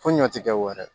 Fo ɲɔ tɛ kɛ wɛrɛ ye